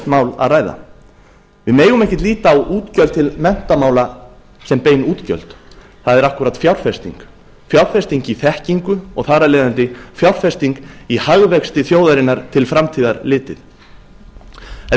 mál að ræða við megum ekki líta á útgjöld til menntamála sem bein útgjöld það er akkúrat fjárfesting fjárfesting í þekkingu og þar af leiðandi fjárfesting í hagvexti þjóðarinnar til framtíðar litið ef